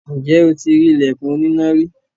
Ǹjẹ́ o ti rí “ ìlẹ̀kùn oníná” rí?